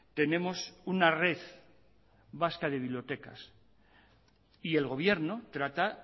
tenemos una red vasca de bibliotecas y el gobierno trata